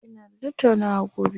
Ina da tattaunawa gobe.